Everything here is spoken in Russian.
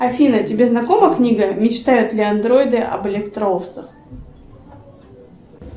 афина тебе знакома книга мечтают ли андроиды об электроовцах